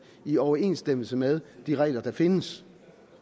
i overensstemmelse med de regler der findes